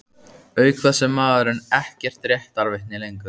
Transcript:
Auk þess er maðurinn ekkert réttarvitni lengur.